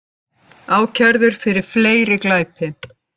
Ákærður fyrir fleiri glæpi